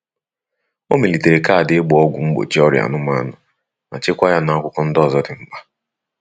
O melitere kaadị ịgba ọgwu mgbochi ọrịa anụmanụ ma chekwaa ya n'akwụkwọ ndi ozo di mkpa.